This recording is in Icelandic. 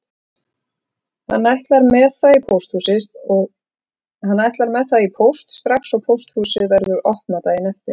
Hann ætlar með það í póst strax og pósthúsið verður opnað daginn eftir.